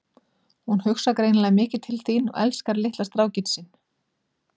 Hún hugsar greinilega mikið til þín og elskar litla strákinn sinn.